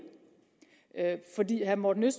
herre morten